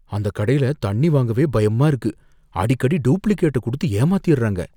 அந்தக் கடைல தண்ணி வாங்கவே பயமா இருக்கு, அடிக்கடி டூப்ளிகேட்ட குடுத்து ஏமாத்திர்றாங்க.